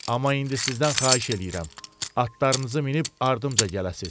Amma indi sizdən xahiş eləyirəm, atlarınızı minib ardımca gələsiz.